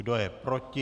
Kdo je proti?